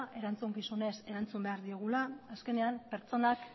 erantzukizunez erantzun behar diogula azkenean pertsonak